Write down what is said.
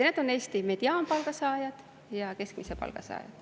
Need on Eesti mediaanpalga saajad ja keskmise palga saajad.